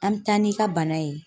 An me taa n'i ka bana ye